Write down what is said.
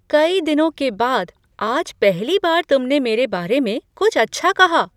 कई दिनों के बाद आज पहली बार तुमने मेरे बारे में कुछ अच्छा कहा।